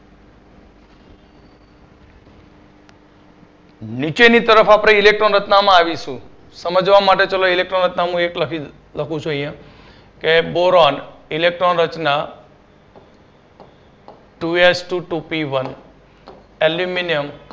નીચેની તરફ આપડે Electron રચનામાં આવીશું સમજવા માટે ચાલો Electron રચના એક લખું છું અહિયાં કે boron Electron રચના Two S Two Two P One aluminium